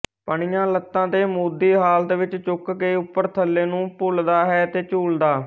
ਪਣੀਆਂ ਲੱਤਾਂ ਤੇ ਮੂਧੀ ਹਾਲਤ ਵਿੱਚ ਚੁੱਕ ਕੇ ਉਪਰ ਥੱਲੇ ਨੂੰ ਭੁੱਲਦਾ ਹੈ ਤੇ ਝੂਲਦਾ